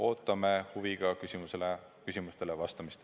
Ootame huviga küsimustele vastamist.